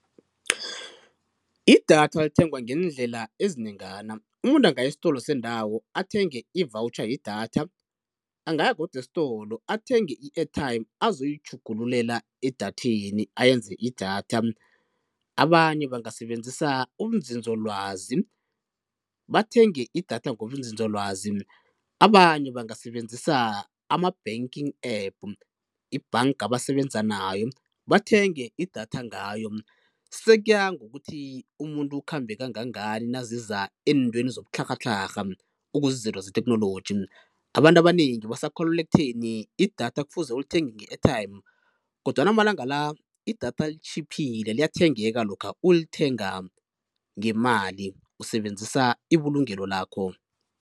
Idatha lithengwa ngeendlela ezinengana, umuntu angaya estolo sendawo athenge i-voucher yedatha, angaya godu estolo athenge i-airtime azokuyitjhugululela edatheni ayenze idatha. Abanye bangasebenzisa ubunzinzolwazi bathenge idatha ngobunzinzolwazi, abanye bangasebenzisa ama-banking app, ibhanka abasebenza nayo bathenge idatha ngayo, sekuya ngokuthi umuntu ukhambe kangangani naziza eentweni zobutlharhatlharha, okuzizinto ze-technology. Abantu abanengi basakholelwa ekutheni idatha kufuze ulithenge nge-airtime kodwana amalanga la idatha litjhiphile liyathengeka lokha ulithenga ngemali usebenzisa ibulungelo lakho.